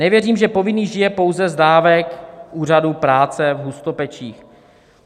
Nevěřím, že povinný žije pouze z dávek Úřadu práce v Hustopečích.